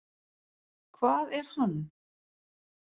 Hvað er hann?